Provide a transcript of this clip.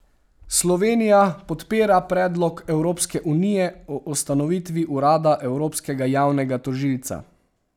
Slovenija podpira predlog Evropske unije o ustanovitvi urada evropskega javnega tožilca.